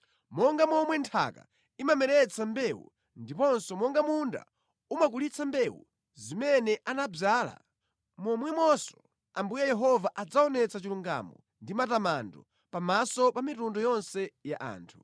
Monga momwe nthaka imameretsa mbewu ndiponso monga munda umakulitsa mbewu zimene anadzala, momwemonso Ambuye Yehova adzaonetsa chilungamo ndi matamando pamaso pa mitundu yonse ya anthu.